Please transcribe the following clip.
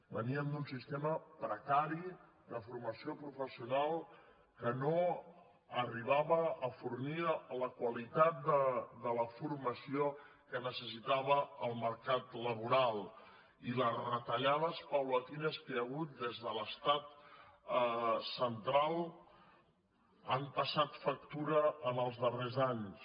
veníem d’un sistema precari de formació professional que no arribava a fornir la qualitat de la formació que necessitava el mercat laboral i les retallades graduals que hi ha hagut des de l’estat central han passat factura en els darrers anys